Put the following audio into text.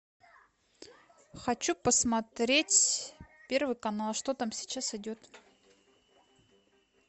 хочу посмотреть первый канал что там сейчас идет